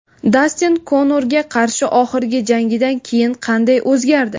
Dastin Konorga qarshi oxirgi jangidan keyin qanday o‘zgardi?.